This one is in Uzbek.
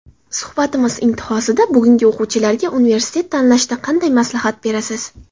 Suhbatimiz intihosida bugungi o‘quvchilarga universitet tanlashda qanday maslahat berasiz?